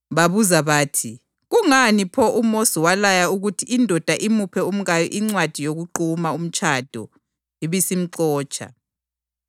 Babuza bathi, “Kungani pho uMosi walaya ukuthi indoda imuphe umkayo incwadi yokuquma umtshado ibisimxotsha?”